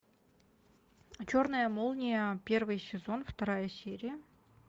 черная молния первый сезон вторая серия